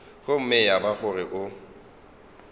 gomme ya ba gore o